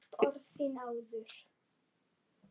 Hef heyrt orð þín áður.